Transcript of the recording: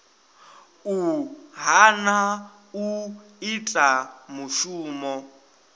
u hana u ita mushumo